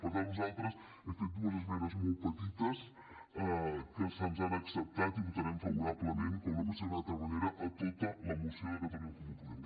per tant nosaltres hem fet dues esmenes molt petites que se’ns han acceptat i votarem favorablement com no pot ser d’una altra manera a tota la moció de catalunya en comú podem